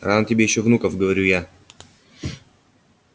рано тебе ещё внуков говорю я